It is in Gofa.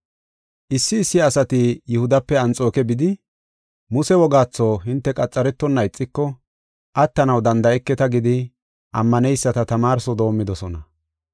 Issi issi asati Yihudape Anxooke bidi, “Muse wogaatho hinte qaxaretonna ixiko attanaw danda7eketa” gidi ammaneyisata tamaarso doomidosona.